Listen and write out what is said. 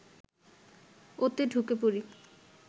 ওতে ঢুকে পড়ি